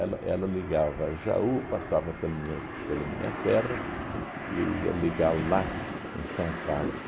ela ligava Jaú, passava pela minha pela minha terra e ia ligar lá, em São Carlos,